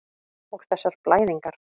Og þessar blæðingar.